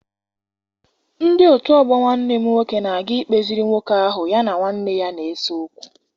Ndị otu ọgbọ Nwanne m nwoke na-aga ikpeziri nwoke ahụ ya na nwanne ya na-ese okwu.